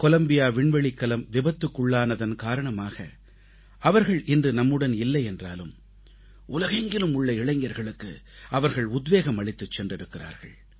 Colombia விண்வெளிக்கலம் விபத்துக்குள்ளானதன் காரணமாக அவர்கள் இன்று நம்முடன் இல்லை என்றாலும் உலகெங்கிலும் உள்ள இளைஞர்களுக்கு அவர்கள் உத்வேகம் அளித்துச் சென்றிருக்கிறார்கள்